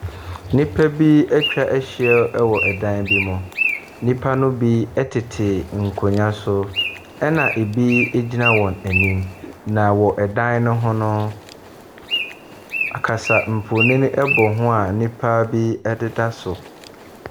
Nnipa bi atwa ahyia wɔ dan bi mu. Nnipa no bi tete nkonnwa so, ɛnna bi gyina wɔn anim, na wɔ dan no ho no, akasamfonin bɔ ho a nnipa bi deda so.